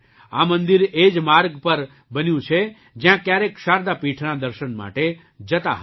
આ મંદિર એ જ માર્ગ પર બન્યું છે જ્યાં ક્યારેક શારદા પીઠના દર્શન માટે જતા હતા